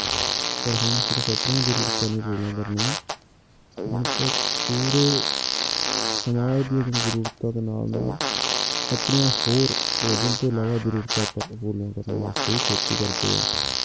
ਪਰ ਹੁਣ ਸਿਰਫ਼ ਆਪਣੀਆਂ ਜ਼ਰੂਰਤਾਂ ਨੀ ਪੂਰੀਆਂ ਕਰਨੀਆਂ ਹੁਣ ਤਾਂ ਪੂਰੇ ਸਮਾਜ ਦੀਆਂ ਵੀ ਜ਼ਰੂਰਤਾਂ ਦੇ ਨਾਲ ਨਾਲ ਆਪਣੀਆਂ ਹੋਰ ਭੋਜਨ ਤੋਂ ਇਲਾਵਾ ਜ਼ਰੂਰਤਾਂ ਆਪਾਂ ਨੂੰ ਪੂਰੀਆਂ ਕਰਨ ਵਾਸਤੇ ਵੀ ਖੇਤੀ ਕਰਦੇ ਆ।